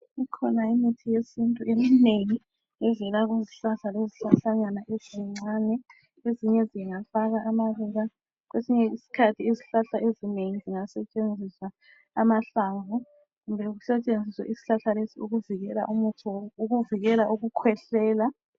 Ikhona imithi yesintu, eminengi evela kuzihlahla lezihlahlanyana ezincane. Ezinye zingafaka amaluba. Kwesinye isikhathi izihlahla ezinengi, zingasetshenziswa amahlamvu. Kumbe kusetshenziswe isihlahla lesi, ukuvikela umuthi wo...,ukuvikela ukukhwehlela.